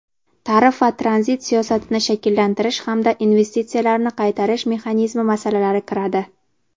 tarif va tranzit siyosatini shakllantirish hamda investitsiyalarni qaytarish mexanizmi masalalari kiradi.